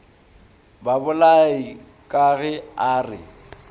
babolai ka ge a re